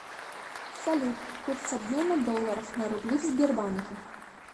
салют курс обмена долларов на рубли в сбербанке